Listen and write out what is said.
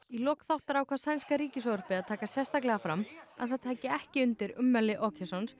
í lok þáttar ákvað sænska ríkissjónvarpið að taka sérstaklega fram að það tæki ekki undir ummæli